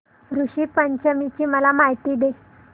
ऋषी पंचमी ची मला माहिती दे